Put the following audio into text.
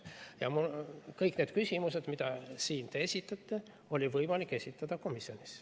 Ja kõiki neid küsimusi, mida te siin esitate, oli võimalik esitada komisjonis.